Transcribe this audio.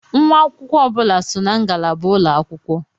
Nwa akwụkwọ ọ bụla so na ngalaba ulọ akwụkwọ.